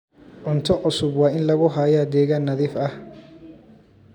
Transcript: Cunto cusub waa in lagu hayaa deegaan nadiif ah.